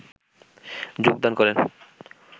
যোগদান করেন